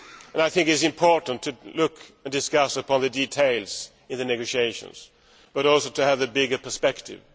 I think it is important to look at and discuss the details in the negotiations but also to see the bigger perspective.